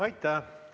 Aitäh!